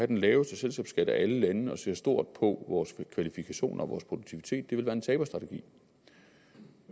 den laveste selskabsskat af alle lande og ser stort på vores kvalifikationer og vores produktivitet være en taberstrategi